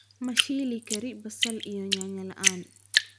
ma shilli kari basal iyo nyanya laan